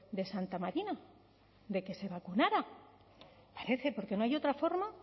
de santa marina de que se vacunara parece porque no hay otra forma